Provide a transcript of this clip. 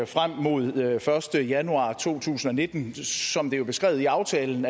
frem mod den første januar to tusind og nitten som det jo er beskrevet i aftalen